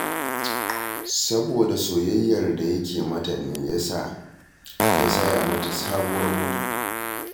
Saboda soyayyar da yake mata ne ya sa ya saya mata sabuwar mota